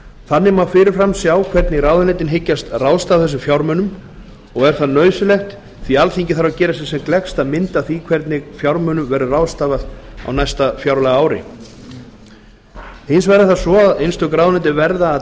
þannig má fyrirfram sjá hvernig ráðuneytin hyggjast ráðstafa þessum fjármunum og er það nauðsynlegt því alþingi þarf að gera sér sem gleggsta mynd af því hvernig fjármunum verður ráðstafað á næsta fjárlagaári hins vegar er það svo að einstök ráðuneyti verða að